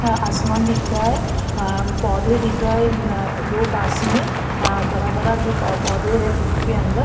आसमान दिख रहा है आ पौधे दिख रहे है दो पास में आ बड़ा बड़ा जो पौधे है धूप के अंदर --